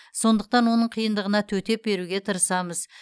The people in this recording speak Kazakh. сондықтан оның қиындығына төтеп беруге тырысамыз